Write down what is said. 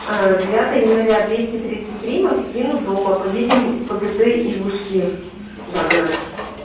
девятого января двести тридцать три магазин у дома поедем в пгт ивушки за город